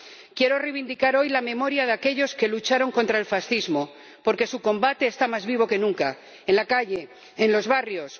Quiero reivindicar hoy la memoria de aquellos que lucharon contra el fascismo, porque su combate está más vivo que nunca, en la calle, en los barrios